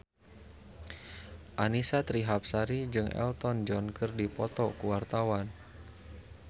Annisa Trihapsari jeung Elton John keur dipoto ku wartawan